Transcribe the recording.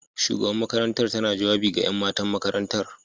Shugaban makarantar tana jawabi ga 'yan matan makarantar.